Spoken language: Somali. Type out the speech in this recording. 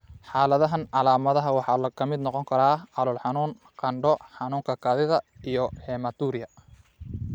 Xaaladahan, calaamadaha waxaa ka mid noqon kara calool xanuun, qandho, xanuunka kaadida iyo hematuria.